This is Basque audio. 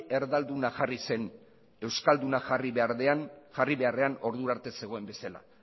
erdalduna jarri zen euskalduna jarri beharrean ordura arte zegoen bezala